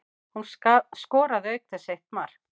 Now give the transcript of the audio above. Hún skoraði auk þess eitt mark